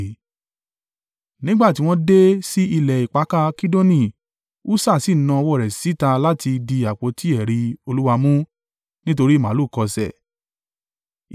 Nígbà tí wọ́n dé sí ilẹ̀ ìpakà Kidoni, Ussa sì na ọwọ́ rẹ̀ síta láti di àpótí ẹ̀rí Olúwa mú, nítorí màlúù kọsẹ̀.